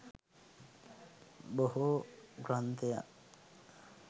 බොහෝ ග්‍රන්ථයන්